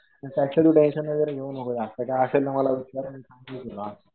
टॅक्सचं तु टेंशन वगैरे घेऊ नको जास्त. काही असेल तर मला विचार.